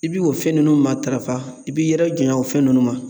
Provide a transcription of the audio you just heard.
I bi o fɛn ninnu matarafa, i b'i yɛrɛ janya o fɛn ninnu ma